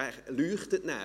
Er leuchtet nachher.